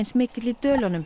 mikill í Dölunum